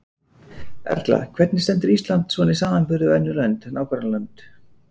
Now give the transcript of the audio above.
Erla: Hvernig stendur Ísland svona í samanburði við önnur lönd, nágrannalönd?